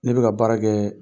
Ne bɛ ka baara kɛɛɛ